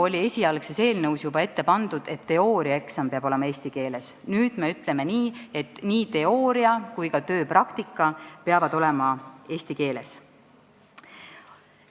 Esialgses eelnõus oli juba ette pandud, et teooriaeksam peab olema eesti keeles, nüüd me ütleme, et nii teooria kui ka tööpraktika peavad olema eesti keeles.